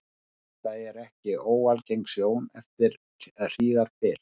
Þetta er ekki óalgeng sjón eftir hríðarbyl.